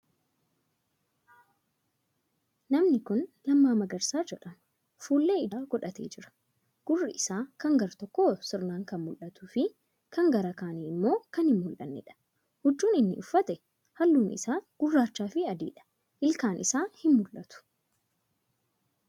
Namni kuni Lammaa Magarsaa jedhama. Fuullee ijaa godhatee jira. Gurri isaa kan gara tokkoo sirnaan kan mul'atuu fi kan gara kaanii immoo kan hin mul'anneedha. Huccuun inni uffate, haallun isaa gurraacha fi adiidha. Ilkaan isaa hin mul'atu.